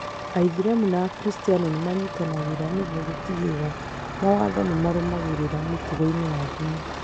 Aithĩramu na Akristiano nĩ manyitanagĩra nĩguo gũtigĩrĩra mawatho nĩ marũmagĩrĩra mĩtugo ya ndini.